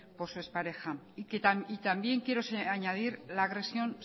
por su expareja y también quiero añadir la agresión